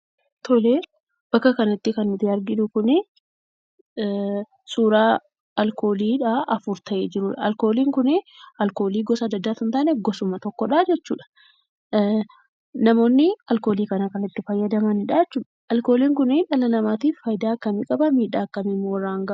Bakka kana irratti kan arginu kuni suuraa aalkoolii afur ta'ee jirudha. Alkooliin kun alkoolii gosa adda addaa osoo hin taanee gosuma tokkodhaa jechuudha. Namoonni alkoolii kana kan itti fayyadamanidha jechuudha. Alkooliin kuni dhala namaatiif faayidaa akkamii qaba? miidhaa akkamii irraan ga'a?